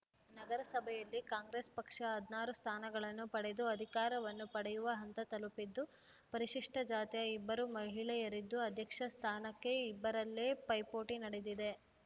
ನಗರಸಭೆಯಲ್ಲಿ ಕಾಂಗ್ರೆಸ್‌ ಪಕ್ಷ ಹದಿನಾರು ಸ್ಥಾನಗಳನ್ನು ಪಡೆದು ಅಧಿಕಾರವನ್ನು ಪಡೆಯುವ ಹಂತ ತಲುಪಿದ್ದು ಪರಿಶಿಷ್ಟಜಾತಿಯ ಇಬ್ಬರು ಮಹಿಳೆಯರಿದ್ದು ಅಧ್ಯಕ್ಷ ಸ್ಥಾನಕ್ಕೆ ಇಬ್ಬರಲ್ಲೇ ಪೈಪೋಟಿ ನಡೆದಿದೆ